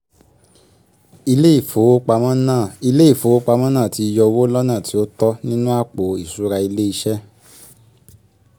iv) ilé ìfowopamọ́ náà ilé ìfowopamọ́ náà tí yọ owó lọ́nà tí ó tọ́ nínú àpò ìṣúra ilé iṣẹ́